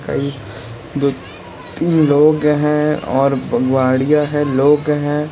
कई दो तीन लोग हैं और वाड़िया है लोग है।